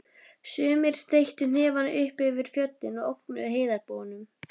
Sumir steyttu hnefana upp yfir fjöllin og ógnuðu heiðarbúunum